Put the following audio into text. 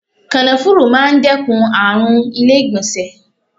Kànáfùrú máa ń dẹ́kun àrùn ilé ìgbọ̀nsẹ̀.